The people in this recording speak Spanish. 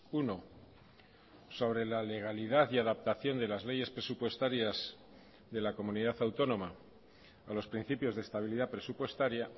uno sobre la legalidad y adaptación de las leyes presupuestarias de la comunidad autónoma a los principios de estabilidad presupuestaria